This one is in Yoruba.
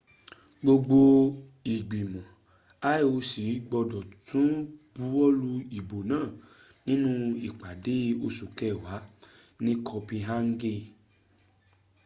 gbogbo ìgbìmọ̀ ioc gbọ́dọ̀ tún buwọ́lu ìbò náà nínú ìpàdé oṣù kẹwàá ní copenhagen